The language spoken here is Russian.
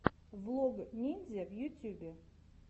влог ниндзя в ютьюбе